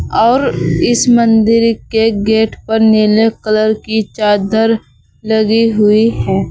और इस मंदिर के गेट पर नीले कलर की चादर लगी हुई है।